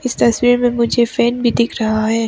इस तस्वीर में मुझे एक फैन भी दिख रहा है।